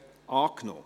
Geschäft